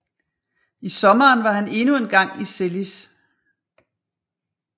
I sommeren var han endnu en gang i Zelis